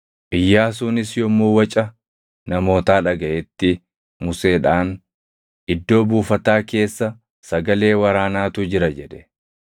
Iyyaasuunis yommuu waca namootaa dhagaʼetti Museedhaan, “Iddoo buufataa keessa sagalee waraanaatu jira” jedhe.